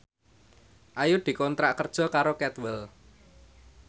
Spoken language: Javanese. Ayu dikontrak kerja karo Cadwell